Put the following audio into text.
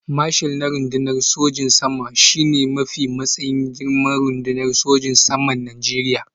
Marshal na rundunar sojin sama shi ne matsayi mafi girma a rundunar sojin saman Najeriya